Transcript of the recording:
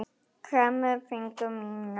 Kremur fingur mína.